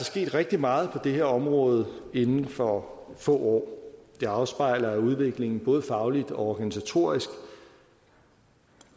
sket rigtig meget på det her område inden for få år det afspejler udviklingen både fagligt og organisatorisk